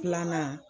Filanan